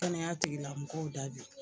Kɛnɛya tigilamɔgɔw da bi